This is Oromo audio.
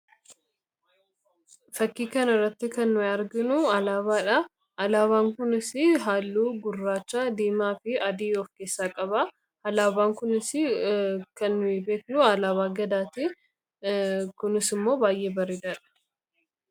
Fakkii kanarratti kan arginu alaabaadha. Alaabaan kunis halluu gurraacha, diimaa fi adii of keessaa qaba. Alaabaan kunis kan beeknu alaabaa abbaa gadaati. Kunis immoo baay'ee bareedaadha.